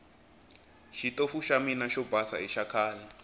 xitofu xa mina xo basa i xakhale